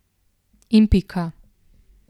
In pika.